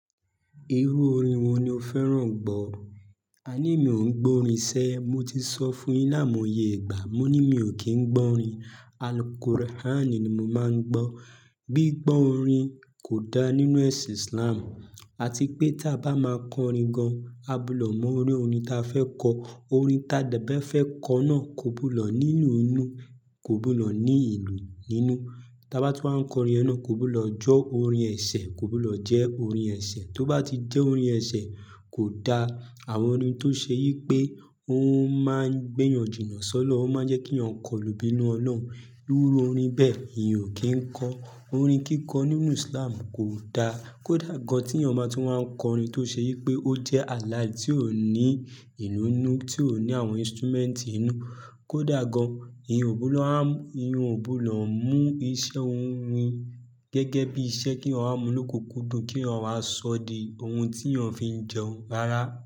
Irú orin wo ni o fẹ́ràn gbọ́? A ní mi ò ń gbọ́ orin ṣé. Mo ti sọ fún yín laimoye ìgbà. Mo ní mi ò kí ń gbọ́ orin. Al-Quran ni mo máa ń gbọ́. Bí gbọ́ orin kò da nínú ẹ̀sìn Islam àti pé tí a bá máa kọ orin gan, a gbọdọ̀ mọ irú orin ta fẹ́ kọ. Orin ta dé bé fẹ́ kọ náà kò gbọdọ̀ ní ìlù nínú. Ta bá tún wá ń kọ orin yen náà kò gbodọ̀ jẹ orin ẹ̀sẹ̀, kò gbọdọ̀ jẹ́ orin ẹ̀sẹ̀. Tó bá ti jẹ́ orin ẹ̀sẹ̀ kò da. Àwọn orin tó ṣe yí pé ó máa ń gbé yan jìnà solọ̀run, ó máa ń jẹ́ kí èèyàn kọlu ibínú Ọlọ́run. Irú orin bẹ́ẹ̀ mi ò kí ń kọ. Orin kíkọ nínú Islam kò da. Kò dà gan tí èèyàn bá tún máa ń kọ orin tó ṣe yí pé ó jẹ́ halal tí ò ní ìlù nínú, tí ò ní àwọn instrument inú. Kò dà gán. Ìyẹn ò gbọdọ̀ há, ìyẹn ò gbọdọ̀ mú iṣẹ́ orin gẹ́gẹ́ bí iṣẹ́ kí èèyàn wá mú lókukúndùn, kí èèyàn wá sọ di ohun tí èèyàn fi ń jẹun rárá.